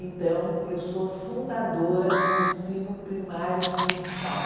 Então, eu sou fundadora do ensino primário municipal.